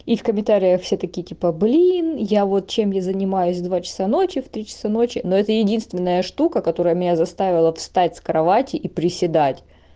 и в комментариях все такие типа блин я вот чем я занимаюсь в два часа ночи в три часа ночи но это единственная штука которая меня заставила встать с кровати и приседать